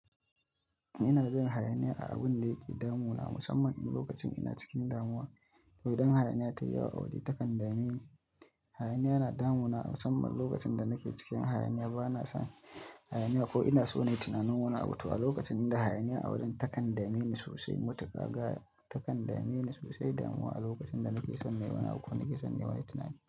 Ina jin hayaniya a abun da ke damu na, musamman in lokacin ina cikin damuwa. To idan hayaniya ta yi wa wani takan dame ni, hayaniya na damuwa musamman lokacin da nake cikin hayaniya, bana son hayaniyya ko ina so na yi tunanin wani abu. To a lokacin inda hayaniya a wajen takan dame ni sosai, matuka ga takan dame ni sosai damuwa a lokacin da nake son na yi wani ko nake son na yi wani tunani.